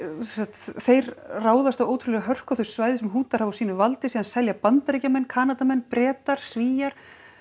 þeir ráðast af ótrúlegri hörku á þau svæði sem Hútarnir hafa á sínu valdi síðan selja Bandaríkjamenn Kanadamenn Bretar Svíar